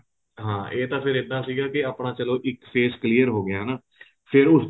ਹਾਂ ਏ ਫ਼ੇਰ ਇੱਦਾ ਸੀਗਾ ਆਪਣਾ ਚਲੋਂ ਇੱਕ face clear ਹੋ ਗਿਆ ਹਨਾ ਫ਼ੇਰ ਉਸ